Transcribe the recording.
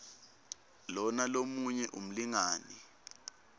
lona lomunye umlingani